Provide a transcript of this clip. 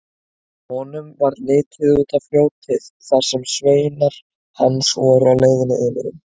Honum varð litið út á fljótið þar sem sveinar hans voru á leiðinni yfir um.